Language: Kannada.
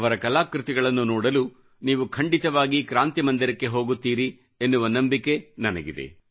ಅವರ ಕಲಾಕೃತಿಗಳನ್ನು ನೋಡಲು ನೀವು ಖಂಡಿತವಾಗಿ ಕ್ರಾಂತಿ ಮಂದಿರಕ್ಕೆ ಹೋಗುತ್ತೀರಿ ಎನ್ನುವ ನಂಬಿಕೆ ನನಗಿದೆ